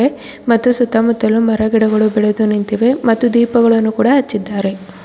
ಮತ್ತೆ ಸುತ್ತಮುತ್ತಲು ಮರ ಗಿಡಗಳು ಬೆಳೆದು ನಿಂತಿವೆ ಮತ್ತು ದೀಪಗಳನ್ನು ಕೂಡ ಹಚ್ಚಿದ್ದಾರೆ.